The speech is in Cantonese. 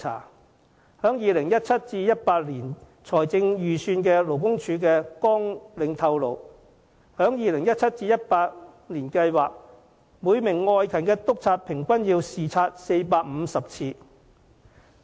勞工處的 2017-2018 年度財政預算綱領顯示，處方計劃在 2017-2018 年度要每名外勤督察平均視察450次。